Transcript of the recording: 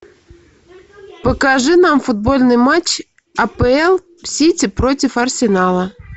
покажи нам футбольный матч апл сити против арсенала